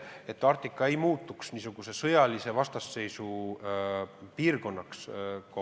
Arktika ei tohi muutuda sõjalise vastasseisu piirkonnaks.